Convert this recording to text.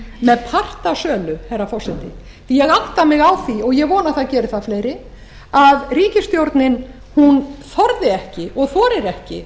með part á sölu herra forseti ég átta mig á því og ég vona að það geri það fleiri að ríkisstjórnin þorði ekki og þorir ekki